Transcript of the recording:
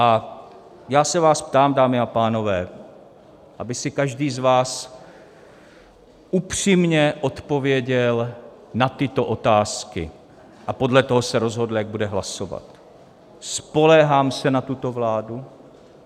A já se vás ptám, dámy a pánové, aby si každý z vás upřímně odpověděl na tyto otázky a podle toho se rozhodl, jak bude hlasovat: Spoléhám se na tuto vládu?